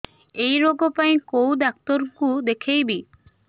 ଏଇ ରୋଗ ପାଇଁ କଉ ଡ଼ାକ୍ତର ଙ୍କୁ ଦେଖେଇବି